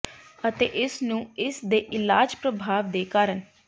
ਅਤੇ ਇਸ ਨੂੰ ਇਸ ਦੇ ਇਲਾਜ ਪ੍ਰਭਾਵ ਦੇ ਕਾਰਨ